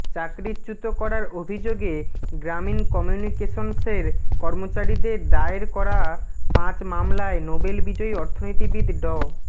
চাকরিচ্যুত করার অভিযোগে গ্রামীণ কমিউনিকেশনসের কর্মচারীদের দায়ের করা পাঁচ মামলায় নোবেল বিজয়ী অর্থনীতিবিদ ড